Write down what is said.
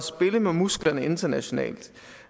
spille med musklerne internationalt